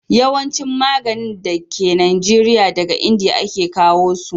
yawancin maganin da ke najeriya, daga indiya a ke kawo su